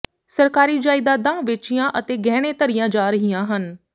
ਸਰਕਾਰੀ ਜਾਇਦਾਦਾਂ ਵੇਚੀਆਂ ਅਤੇ ਗਹਿਣੇ ਧਰੀਆਂ ਜਾ ਰਹੀਆਂ ਹਨ